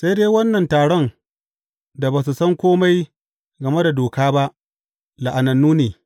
Sai dai wannan taron da ba su san kome game da Doka ba, la’anannu ne.